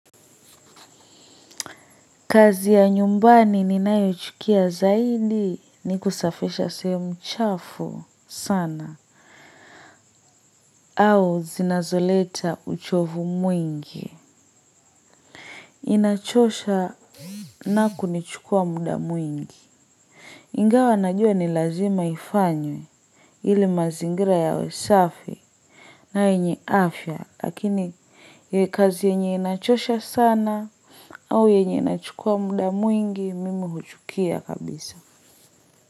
Kazi ya nyumbani ninayochukia zaidi ni kusafisha sehemu chafu sana. Au zinazoleta uchovu mwingi. Inachosha na kunichukua muda mwingi. Ingawa najua ni lazima ifanywe ili mazingira yawe safi na yenye afya. Lakini ni kazi yenye inachosha sana au yenye inachukua muda mwingi mimi huchukia kabisa.